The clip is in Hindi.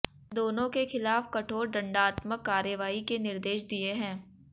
दोनों के खिलाफ कठोर दंडात्मक कार्यवाही के निर्देश दिए हैं